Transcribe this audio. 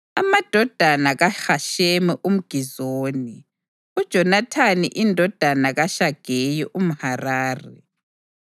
amadodana kaHashemi umGizoni, uJonathani indodana kaShageye umHarari,